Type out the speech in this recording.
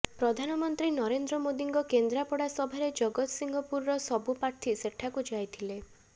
ପ୍ରଧାନମନ୍ତ୍ରୀ ନରେନ୍ଦ୍ର ମୋଦୀଙ୍କ କେନ୍ଦ୍ରାପଡ଼ା ସଭାରେ ଜଗତସିଂହପୁରର ସବୁ ପ୍ରାର୍ଥୀ ସେଠାକୁ ଯାଇଥିଲେ